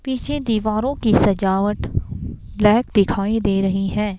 पीछे दीवारों की सजावट ब्लैक दिखाई दे रही है.